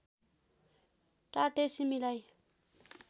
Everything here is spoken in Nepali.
टाटे सिमी लाई